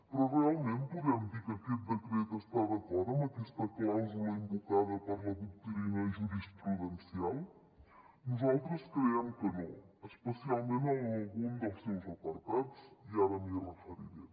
però realment podem dir que aquest decret està d’acord amb aquesta clàusula invocada per la doctrina jurisprudencial nosaltres creiem que no especialment en algun dels seus apartats i ara m’hi referiré